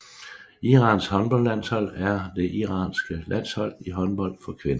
Irans håndboldlandshold er det iranske landshold i håndbold for kvinder